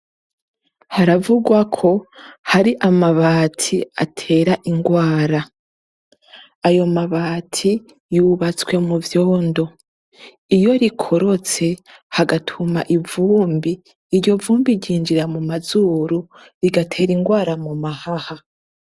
Biravurwa ko hari amabati atera ingwara ayo mabati yubatse mu vyondo iyo rikorotse hagatuma ivumbi iryo vumbi ryinjira muma zuru rigatera ingwara mu mahaha.